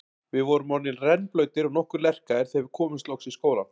Við vorum orðnir rennblautir og nokkuð lerkaðir þegar við komumst loks í skólann.